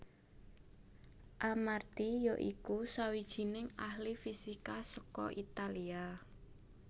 Armati ya iku sawijining ahli fisika saka Italia